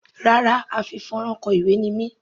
Rárá, a fi fónrán kọ ìwé ni mí.